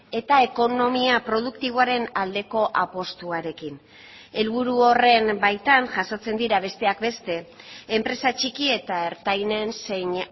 eta ekonomia produktiboaren aldeko apustuarekin helburu horren baitan jasotzen dira besteak beste enpresa txiki eta ertainen zein